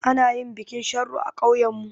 Ana yin bikin sharo a ƙauyanmu.